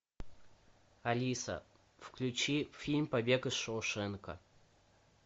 алиса включи фильм побег из шоушенка